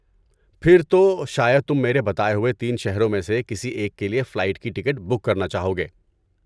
پھر تو شاید تم میرے بتائے ہوئے تین شہروں میں سے کسی ایک کے لیے فلائٹ کی ٹکٹ بک کرنا چاہو گے۔